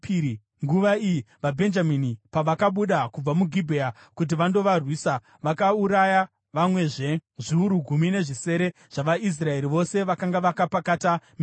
Nguva iyi, vaBhenjamini pavakabuda kubva muGibhea kuti vandovarwisa, vakauraya vamwezve zviuru gumi nezvisere zvavaIsraeri, vose vakanga vakapakata minondo.